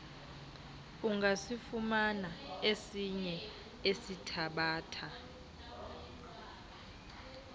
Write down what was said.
ungasifumana esinye esithabatha